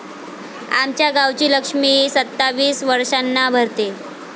आमच्या गावची लक्ष्मी सत्तावीस वारसांना भरते...